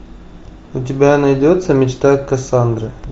у тебя найдется мечта кассандры